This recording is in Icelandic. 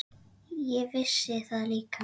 Ég vissi það líka.